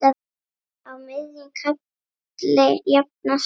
Á miðjum katli jafnan sú.